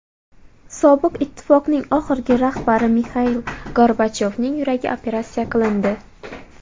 Sobiq ittifoqning oxirgi rahbari Mixail Gorbachyovning yuragi operatsiya qilindi.